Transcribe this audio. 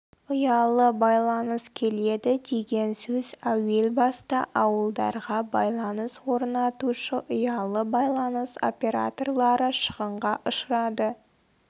ұялы байланыс келеді деген сөз әуел баста ауылдарға байланыс орнатушы ұялы байланыс операторлары шығынға ұшырады